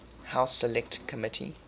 house select committee